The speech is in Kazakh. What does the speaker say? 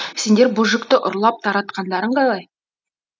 сендер бұ жүкті ұрлап тартқандарың қалай